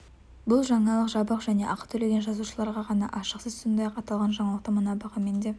бұл жаңалық жабық және ақы төлеген жазылушыларға ғана ашық сіз сондай-ақ аталған жаңалықты мына бағамен де